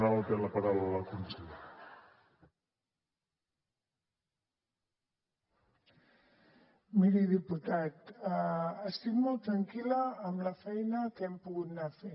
miri diputat estic molt tranquil·la amb la feina que hem pogut anar fent